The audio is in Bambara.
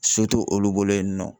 So to olu bolo yen nɔ.